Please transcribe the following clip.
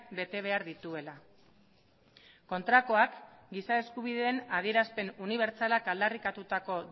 bete behar dituela kontrakoak giza eskubideen adierazpen unibertsalak aldarrikatutako